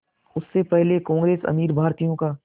उससे पहले कांग्रेस अमीर भारतीयों का